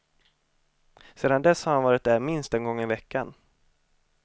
Sedan dess har han varit där minst en gång i veckan.